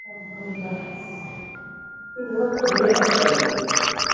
ಹ ಹೌದಾ, ಈಗ ಓದ್ತಾ.